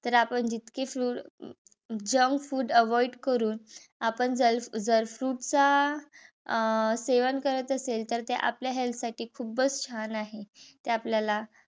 तर आपण जितके fruits junk food avoid करून आपण जर जर fruits चा सेवन करत असेल. तर ते आपल्या health साठी खूपच छान आहे. तर आपल्याला